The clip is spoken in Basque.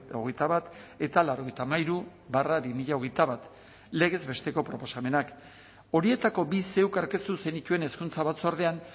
hogeita bat eta laurogeita hamairu barra bi mila hogeita bat legez besteko proposamenak horietako bi zeuk aurkeztu zenituen hezkuntza batzordean